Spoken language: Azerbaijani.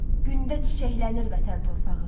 Gündə çiçəklənir vətən torpağı.